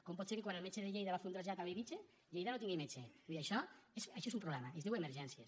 com pot ser que quan el metge de lleida va a fer un trasllat a bellvitge lleida no tingui metge vull dir això és un problema i es diu emergències